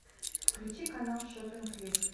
включи канал шоппинг лив